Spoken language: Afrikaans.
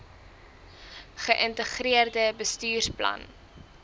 ge integreerde bestuursplan